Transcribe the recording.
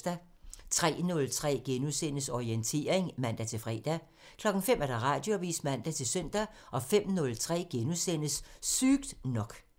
03:03: Orientering *(man-fre) 05:00: Radioavisen (man-søn) 05:03: Sygt nok *(man)